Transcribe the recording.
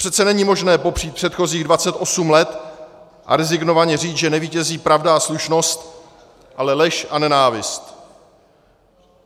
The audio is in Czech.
Přece není možné popřít předchozích 28 let a rezignovaně říct, že nevítězí pravda a slušnost, ale lež a nenávist.